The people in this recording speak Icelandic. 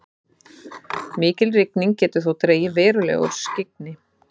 mikil rigning getur þó dregið verulega úr skyggni